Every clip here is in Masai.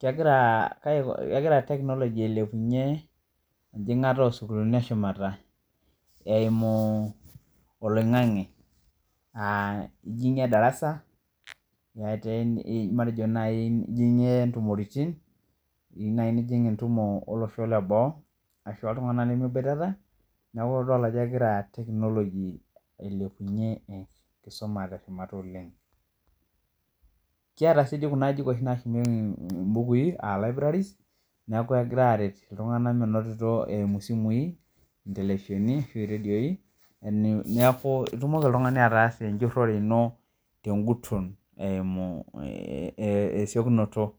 Kegira technology ailepunye enkiengata osukulini eshumata eimu oloingangi aa ijingie darasa matejo nai iyieu nijing entumo oltunganak leboo ashu ltunganak lemeboitata neaku idol ajo egira technology ailepunye enkisuma teshumata oleng kiata si kuna ajijik nashumieki mbukui neaku kegira aretie ltunganak eimu simui intelefisheni ashu redioi neaku itumoki oltungani ataasa enjuroto ino tenkagum eimu esiokinoto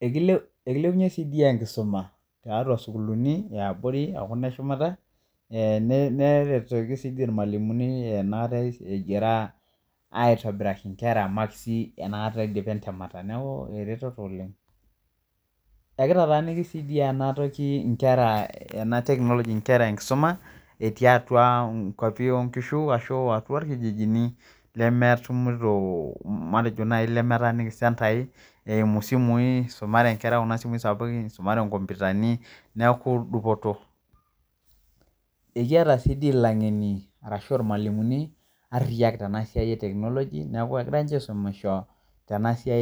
ekilepunye si enkisuma taitua sukulini eshumata neretoki si irmalimulini egira aitobiraki nkera makisi neaku eretoto oleng ekitataaniki si nkera enkisuma eti atua irkijinini lemetumito matejo lemetaaniki sentai eimu simui matejo isumare nkera nkomputani neaku dupoto eliata si langeni ashu irmalimulini ariyani tenasia